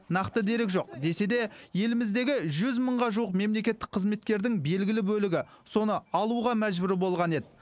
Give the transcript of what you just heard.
нақты дерек жоқ десе де еліміздегі жүз мыңға жуық мемлекеттік қызметкердің белгілі бөлігі соны алуға мәжбүр болған еді